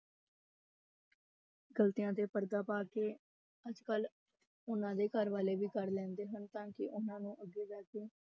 ਗ਼ਲਤੀਆਂ ਤੇ ਪਰਦਾ ਪਾ ਕੇ ਅੱਜ ਕੱਲ੍ਹ ਉਹਨਾਂ ਦੇ ਘਰ ਵਾਲੇ ਵੀ ਕਰ ਲੈਂਦੇ ਹਨ ਤਾਂ ਕਿ ਉਹਨਾਂ ਨੂੰ ਅੱਗੇ ਜਾ ਕੇ